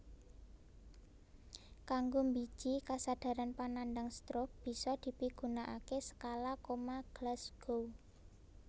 Kanggo mbiji kasadharan panandhang stroke bisa dipigunakaké Skala Koma Glasgow